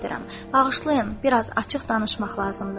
Bağışlayın, biraz açıq danışmaq lazımdır.